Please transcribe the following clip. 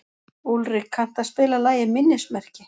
Úlrik, kanntu að spila lagið „Minnismerki“?